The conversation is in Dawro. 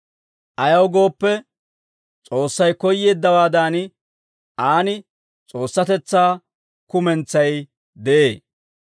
Ayaw gooppe, S'oossay koyyeeddawaadan, Aan S'oossatetsaa kumentsay de'ee.